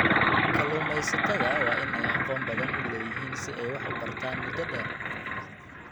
Kalluumeysatada waa in ay aqoon badan u leeyihiin si ay wax u bartaan muddo dheer.